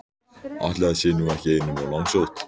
Ætli það sé nú ekki einum of langsótt!